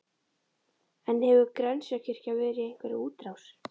En hefur Grensáskirkja verið í einhverri útrás?